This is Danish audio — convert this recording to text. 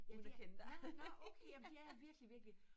Ja det er nå nå okay jamen det er jeg virkelig virkelig